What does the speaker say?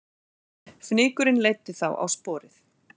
Fnykurinn leiddi þá á sporið